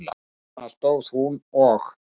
Þarna stóð hún og.